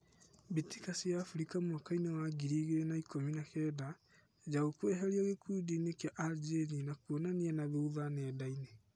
Mbĩtĩka cia Afrika mwakainĩ wa ngiri igĩrĩ na ikũmi na kenda: Njaũ kweherio gĩkundinĩ kia Aljeria ni kuonanania nathutha nendainĩ.